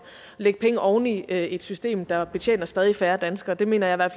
lægge penge oveni et system der betjener stadig færre danskere det mener jeg